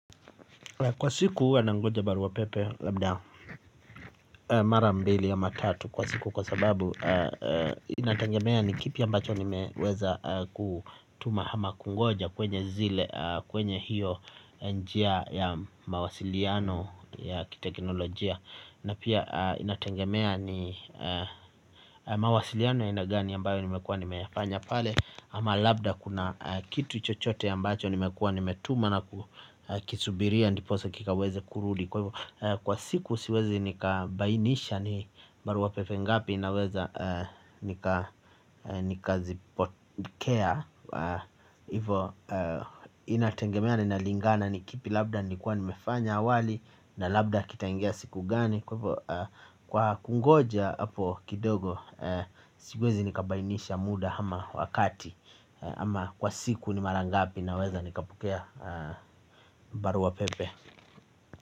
Kwa siku uwa na ngoja baru wa pepe labda mara mbili ama tatu kwa siku kwa sababu inatengemea ni kipi ambacho ni meweza kutuma hama kungoja kwenye zile kwenye hiyo njia ya mawasiliano ya kitekinolojia. Na pia inatengemea ni mawasiliano ya aina gani ambayo ni mefanya pale. Ama labda kuna kitu chochote ya mbacho nimekua nimetuma na kukisubiria. Ndiposo kika weze kuruli. Kwa siku siwezi nikabainisha ni baruwa pefe ngapi. Naweza nikazipotkea. Hivo inatengemea ni nalingana nikipi labda nikua nimefanya awali. Na labda kitaingia siku gani. Kwa kungoja hapo kidogo. Siwezi nikabainisha muda ama wakati. Ama kwa siku ni marangapi na weza nikapukea baruapepe.